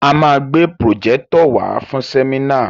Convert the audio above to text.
A máa gbé pròjẹ́tọ̀ wàá fún sẹ́mínà.